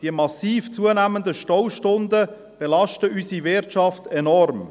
Die massiv zunehmenden Staustunden belasten unsere Wirtschaft enorm.